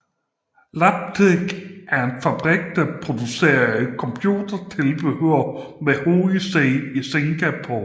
Labtec var en fabrik der producerede computertilbehør med hovedsæde i Singapore